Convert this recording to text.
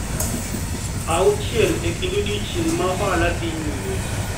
auchiel e kind odiechieng’ ma ohala dhi nyime.